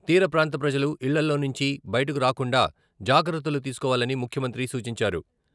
తీర ప్రాంత ప్రజలు ఇళ్లల్లోంచి బయటకు రాకుండా జాగ్రత్తలు తీసుకోవాలని ముఖ్యమంత్రి సూచించారు.